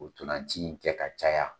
Ntolanci in kɛ ka caya.